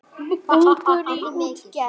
Ungur í útgerð